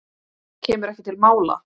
Kemur ekki til mála!